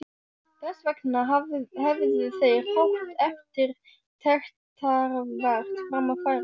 Þessvegna hefðu þeir fátt eftirtektarvert fram að færa.